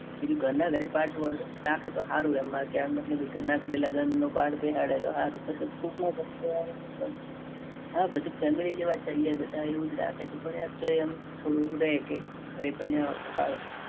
ઘર ના દરેક part રાખે તો હારું એમ માર કેવાં ન મતલબ ઘર ના ઘરે લગન નો પાઠ બેહારે તો હારૂ પછી કોક નું હા બધા family જેવા જ થઇ ગયા. બધા એવું જ રાખે છે. પણ યાર તોયે એમ થોડું રહે. કે ઘરે પરણ્યા હોત તો હારું.